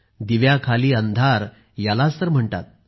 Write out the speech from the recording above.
दिव्याखाली अंधार यालाच तर म्हणतात